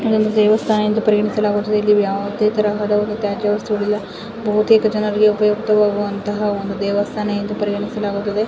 ಇಲ್ಲಿ ಒಂದು ದೇವಸ್ಥಾನ ಎಂದು ಪರಿಗಣಿಸಲಾಗುತದೆ ಇಲ್ಲಿ ಯಾವುದೇ ತರಹದ ತ್ಯಾಜ್ಯ ವಸ್ತುಗಳು ಇಲ್ಲ ಬಹುತೇಕ ಜನರಿಗೆ ಉಪಯುಕ್ತವಾದ ಒಂದು ದೇವಸ್ಥಾನ ಇದೆ.